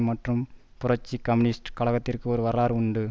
மற்றும் புரட்சி கம்யூனிஸ்ட் கழகத்திற்கும் ஒரு வரலாறு உண்டு